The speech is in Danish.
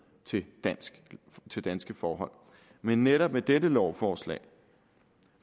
til danske til danske forhold men netop med dette lovforslag